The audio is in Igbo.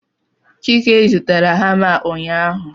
chike zụtara hama a ụnyaahụ